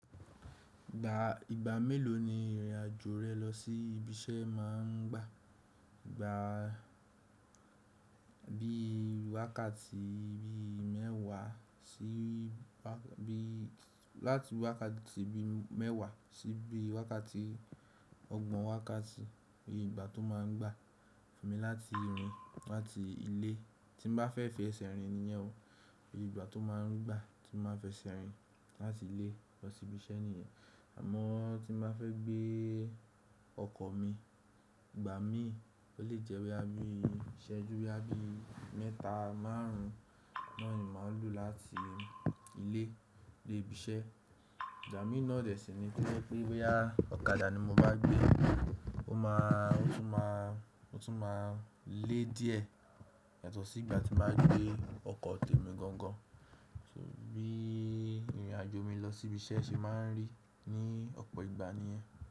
Ìgbà, ìgbà mélòó ni ìrìn àjò rẹ lọ sí ibi iṣẹ́ máa ń gbà? Gbà bí wákàtí bí mẹ́wá sí bí, láti wákàtí bí i mẹ́wà sí bí wákàtí ọgbọ̀n wákàtí ni ìgbà tó máa ń gbà fún mi láti rìn láti ilé, tí mo bá fẹ́ fẹsẹ̀ rìn nìyẹn o. Ìgbà tó máa ń gbà tí mo bá fẹ́ fẹsẹ̀ rìn láti ilé lọ sí ibi iṣẹ́ nìyẹn. Àmọ́ tí mo bá fẹ́ gbé ọkọ̀ mi, ìgbà míì ò lè jẹ́ bo ya bí ìṣẹ́jú bo ya bí mẹ́ta márùn náà ni màá lò láti ilé dé ibi iṣẹ́. Ìgba míì náà dẹ̀ sí ní ko je pé, boya ọ̀kadà ni mo bá gbé, ó máa, ó tún máa, ó tún máa lé díẹ̀ yàtọ̀ sí ìgbà tí mo bá gbé ọkọ̀ temi gangan. Bí ìrìn àjò mi lọ sí ibi iṣẹ́ ṣe máa ń rí ní ọ̀pọ̀ ìgbà nìyẹn.